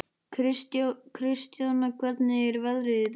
Kristjóna, hvernig er veðrið í dag?